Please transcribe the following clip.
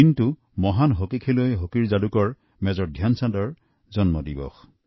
এই দিনটো মহান হকী খেলুৱৈ তথা হকীৰ যাদুকৰ মেজৰ ধ্যানচাঁদজীৰ জন্মদিন